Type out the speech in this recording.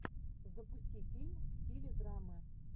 запусти фильм в стиле драма